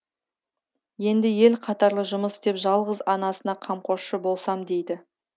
енді ел қатарлы жұмыс істеп жалғыз анасына қамқоршы болсам дейді